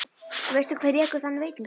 Og veistu hver rekur þann veitingastað?